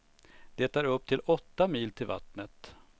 Det är upp till åtta mil till vattnet.